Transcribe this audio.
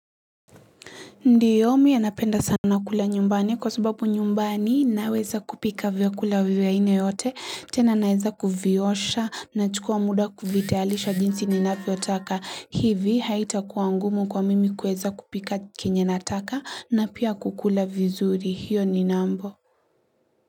Ndiyo miya napenda sana kula nyumbani kwa sababu nyumbani naweza kupika vya kula vya aina yote, tena naweza kuviosha na chukua muda kuvitalisha jinsi ninafyo taka. Hivi haita kuangumu kwa mimi kueza kupika kenye nataka na pia kukula vizuri. Hio ni nambo.